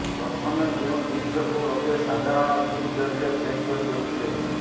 ପ୍ରଥମେ ଯେଉଁ ଜିନିଷକୁ ଲୋକେ ସାଧାରଣ ଗିଫ୍ଟ ଜରିରେ ପେକ୍ କରି ଦେଉଥିଲେ